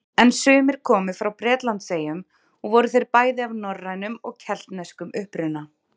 En sumir komu frá Bretlandseyjum og voru þeir bæði af norrænum og keltneskum uppruna.